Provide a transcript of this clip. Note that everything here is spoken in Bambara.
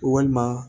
Walima